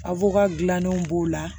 Abuka gilannen b'o la